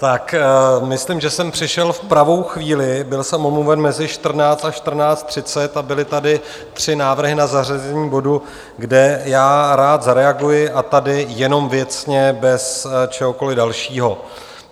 Tak myslím, že jsem přišel v pravou chvíli, byl jsem omluven mezi 14. a 14.30, a byly tady tři návrhy na zařazení bodu, kde já rád zareaguji, a tady jenom věcně bez čehokoli dalšího.